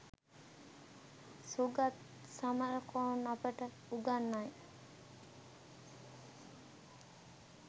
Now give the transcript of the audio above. සුගත් සමරකෝන් අපට උගන්වයි